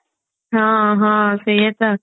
ହଁ ହଁ ସେଇୟା ତ